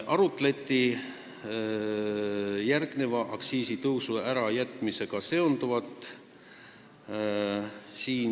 Arutati ettenähtud aktsiisitõusu ärajätmisega seonduvat.